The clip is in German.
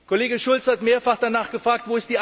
Kollege Schulz hat mehrfach danach gefragt.